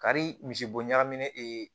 Kari misibo ɲagaminen ee